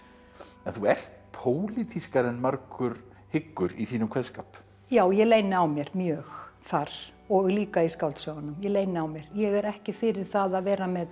en þú ert pólitískari en margur hyggur í þínum kveðskap já ég leyni á mér mjög þar og líka í skáldsögunum ég leyni á mér ég er ekki fyrir það að vera með